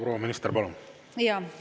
Proua minister, palun!